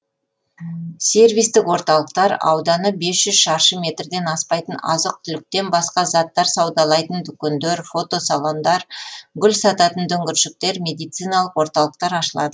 сервистік орталықтар ауданы бес жүз шаршы метрден аспайтын азық түліктен басқа заттар саудалайтын дүкендер фотосалондар гүл сататын дүңгіршектер медициналық орталықтар ашылады